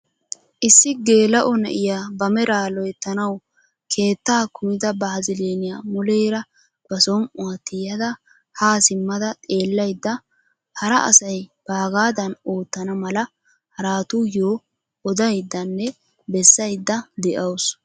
Issi geela'o na'iyaa ba meraa loyttanawu keettaa kumida baziliniyaa muleera ba som"uwaa tiyada haa simmada xeellayda hara asay baagadan oottana mala haratuyoo odayddanne bessayda de'awus.